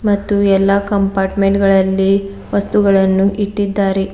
ಮತ್ತು ಎಲ್ಲಾ ಕಂಪಾರ್ಟ್ಮೆಂಟ್ ಗಳಲ್ಲಿ ವಸ್ತುಗಳನ್ನು ಇಟ್ಟಿದ್ದಾರೆ.